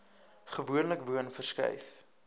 gewoonlik woon verskuif